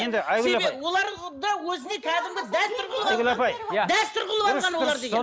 енді айгүл апай оларды өзіне кәдімгі дәстүр қылып алған айгүл апай дәстүр қылып алған олар деген